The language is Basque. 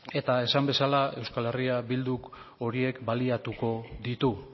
eta esan bezala euskal herria bilduk horiek baliatuko ditu